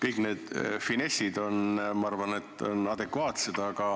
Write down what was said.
Kõik need finessid on – ma arvan, et on – adekvaatsed.